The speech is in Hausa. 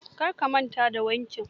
Kar ka manta da wankin.